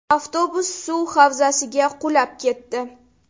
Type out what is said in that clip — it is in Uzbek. Avtobus suv havzasiga qulab ketdi.